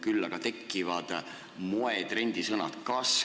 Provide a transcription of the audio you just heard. Küll aga tekivad moe-, trendisõnad.